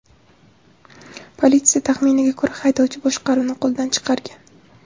Politsiya taxminiga ko‘ra, haydovchi boshqaruvni qo‘ldan chiqargan.